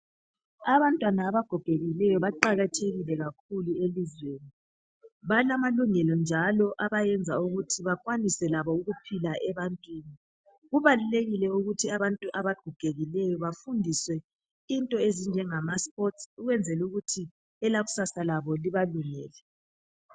Abantwana abagogekileyo baqakathekile kakhulu elizweni. Balamalungelo njalo abayenza ukuthi bekwanise labo ukuphila ebantwini. Kubalulekile ukuthi abantu abagogekileyo bafundiswe into ezinjengama "sports" ukwenzela ukuthi elakusasa labo libalungele.